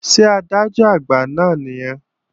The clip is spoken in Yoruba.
Ṣé Adájọ́-Àgbà náà nìyẹn?